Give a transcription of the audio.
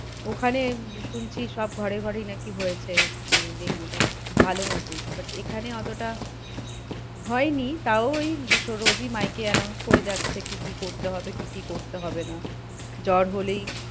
ওখানে শুনছি সব ঘরে ঘরেই নাকি হয়েছে মানে ডেঙ্গুটা খুব ভালো মতোই but এখানে অতটা হয়নি তাও ওই রোজই মাইক এ announce করে যাচ্ছে কি কি করতে হবে কি কি করতে হবে না। জ্বর হলেই,